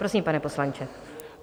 Prosím, pane poslanče.